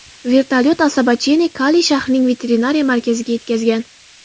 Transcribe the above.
Vertolyot Asabacheni Kali shahrining veterinariya markaziga yetkazgan.